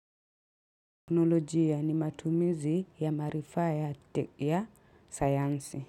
Teknolojia ni matumizi ya maarifa ya sayansi.